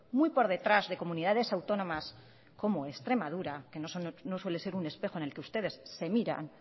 muy por detrás de comunidades autónomas como extremadura que no suele ser un espejo en el que ustedes se miran